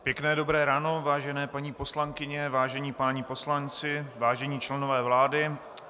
Pěkné dobré ráno, vážené paní poslankyně, vážení páni poslanci, vážení členové vlády.